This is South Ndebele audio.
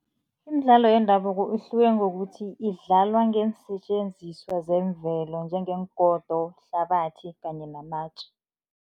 Imidlalo yendabuko ihluke ngokuthi idlalwa ngeensetjenziswa zemvelo, njengeengodo, ihlabathi kanye namatje.